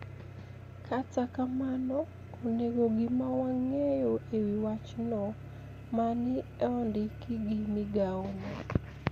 Kata kamano, onige gima wanig'eyo e wi wachno mani e onidiki gi migao no